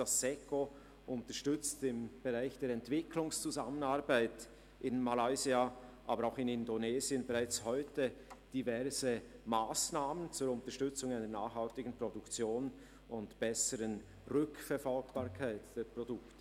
Das SECO unterstützt im Bereich der Entwicklungszusammenarbeit in Malaysia, aber auch in Indonesien bereits heute diverse Massnahmen zur Unterstützung einer nachhaltigen Produktion und einer besseren Rückverfolgbarkeit der Produkte.